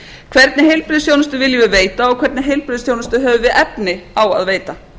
hvernig heilbrigðisþjónustu viljum við veita og hvernig heilbrigðisþjónustu höfum við efni á að veita